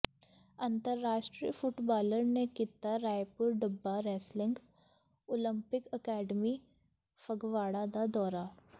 ਅੰਤਰਰਾਸ਼ਟਰੀ ਫੱੁਟਬਾਲਰ ਨੇ ਕੀਤਾ Raipur Dabba wrestling olympic academy Phagwara ਦਾ ਦੌਰਾ